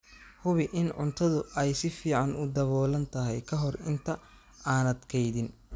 Hubi in cuntadu ay si fiican u daboolan tahay ka hor inta aanad kaydin.